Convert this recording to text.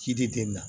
Ci de den na